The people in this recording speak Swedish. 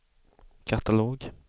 katalog